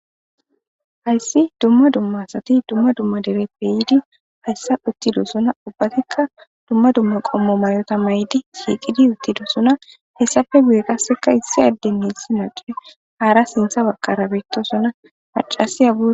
hayssi dumma dumma asati dumma dumma dereppe yiidi hayssa uttidosona ubbatikka dumma dumma qommo mayota may7di shiiqidi uttidosona hessafe guye qasseka issi addennessi nacue haara sintha baqara biittosona macasiyagu